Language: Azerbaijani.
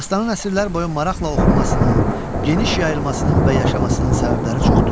Dastanın əsrlər boyu maraqla oxunmasının, geniş yayılmasının və yaşamasının səbəbləri çoxdur.